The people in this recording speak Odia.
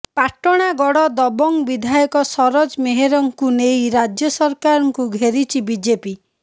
ପାଟଣାଗଡ଼ ଦବଙ୍ଗ ବିଧାୟକ ସରୋଜ ମେହେରଙ୍କୁ ନେଇ ରାଜ୍ୟ ସରକାରଙ୍କୁ ଘେରିଛି ବିଜେପି